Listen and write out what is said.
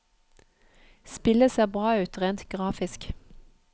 Spillet ser bra ut rent grafisk.